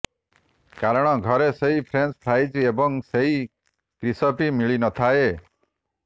କାରଣ ଘରେ ସେହି ଫ୍ରେଞ୍ଚ ଫ୍ରାଇଜ୍ ଏବଂ ସେହି କ୍ରିସପି ମିଳିନଥାଏ